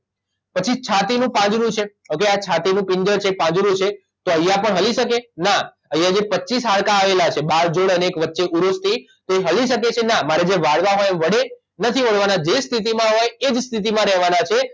પછી છાતીનું પાંજરું છે ઓકે આ છાતીનું પિંજર છે પાંજરું છે તો અહીંયા પણ હલી શકે ના અહીંયા જે પચ્ચીસ હાડકાં આવેલા છે બાજુ અને વચ્ચે ઉરોસ્થિ તો એ હલી શકે છે ના મારે જેમ વાળવા હોય એમ વળે નથી વળવાના જે સ્થિતિમાં હોય એ જ સ્થિતિમાં રહેવાના છે